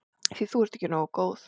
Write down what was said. Því þú ert ekki nógu góð.